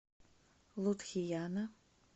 лудхияна